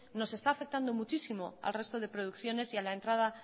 nos está afectando muchísimo al resto de producciones y a la entrada